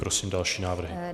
Prosím další návrhy.